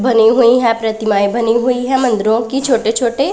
बनी हुई हैं प्रतिमाएं बनी हुई हैं मंदिरों की छोटे छोटे।